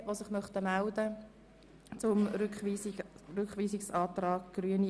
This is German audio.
Nun liegt dieser ganz kurzfristig eingereichte Antrag vor.